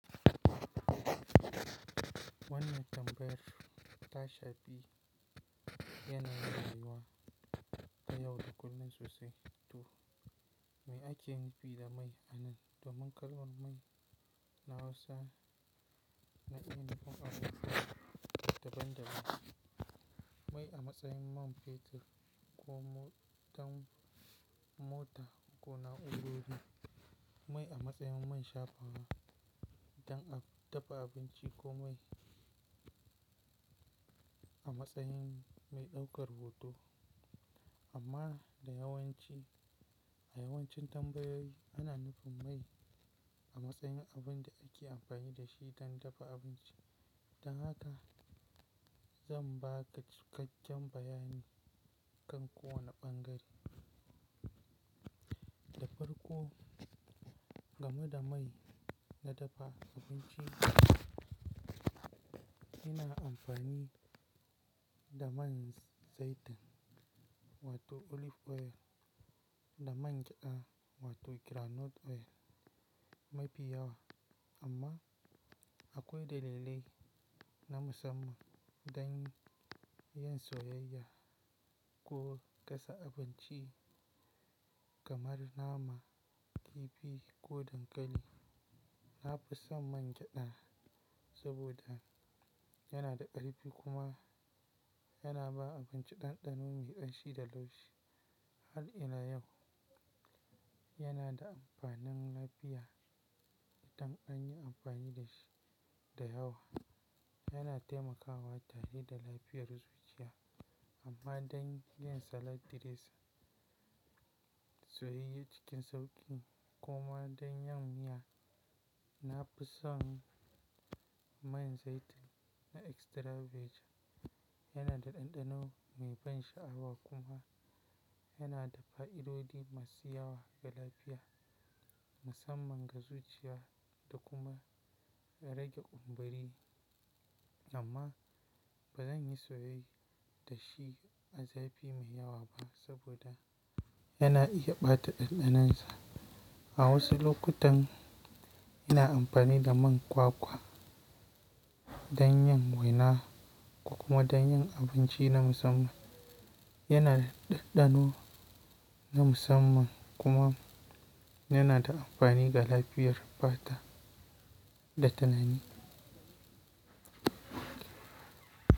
Wannan tambayar tashafi yanayin rayuwa ta yau da kullum sosai to me ake nufi da mai a nan domin kalmar mai na Hausa na iya nufin abubuwa daban-daban. Mai a matsayin man fetur ko motan mota ko na'urori, mai a matsayin man shafawa don dafa abinci ko mai a matsayin mai ɗaukar hoto. Amma da yawanci a yawancin tambayoyi ana nufin mai a matsayin abin da ake amfani da shi don dafa abinci. Don haka zan baka cikakken bayani kan kowane ɓangare. Da farko game da mai na dafa abinci, ina amfani da man zaitun wato olive oil, da man gyada wato groundnut oil mafi yawa amma akwai dalilai na musamman don yin soyayya ko gasa abinci kamar nama, kifi ko dankali. Na fi son man gyada saboda yana da ƙarfi kuma yana ba abinci ɗanɗano mai ƙanshi da laushi. Har ila yau yana da amfanin lafiya idan an yi amfani da shi da yawa. Yana taimakawa tare da lafiyar zuciya amma don yin salad diresin, soyayye cikin sauƙi kuma don yin miya. Na fi son man zaitun na extra virgin yana da ɗanɗano mai ban sha'awa kuma yana da fa'idodi masu yawa ga lafiya musamman ga zuciya da kuma rage kumburi. Amma ba zan yi soye da shi a zafi mai yawa ba saboda yana iya ɓata ɗanɗanonsa. A wasu lokutan ina amfani da man kwakwa don yin waina ko kuma don yin abinci na musamman. Yana da ɗanɗano na musamman kuma yana da amfani ga lafiyar fata da tunani.